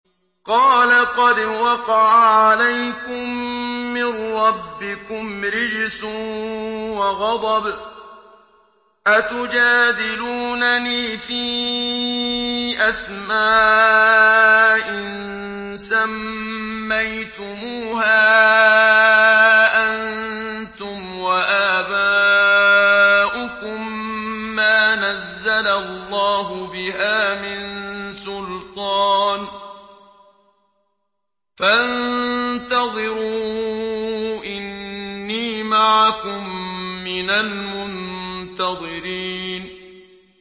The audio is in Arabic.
قَالَ قَدْ وَقَعَ عَلَيْكُم مِّن رَّبِّكُمْ رِجْسٌ وَغَضَبٌ ۖ أَتُجَادِلُونَنِي فِي أَسْمَاءٍ سَمَّيْتُمُوهَا أَنتُمْ وَآبَاؤُكُم مَّا نَزَّلَ اللَّهُ بِهَا مِن سُلْطَانٍ ۚ فَانتَظِرُوا إِنِّي مَعَكُم مِّنَ الْمُنتَظِرِينَ